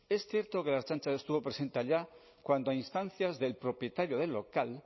es cierto que la ertzaintza estuvo presente allá cuando a instancias del propietario del local